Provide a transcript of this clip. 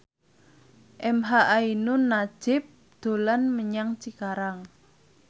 emha ainun nadjib dolan menyang Cikarang